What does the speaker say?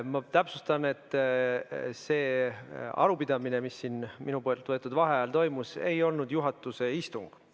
Ma täpsustan, et see arupidamine, mis siin minu võetud vaheajal toimus, ei olnud juhatuse istung.